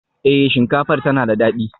Eh, shinkafar tana da dadi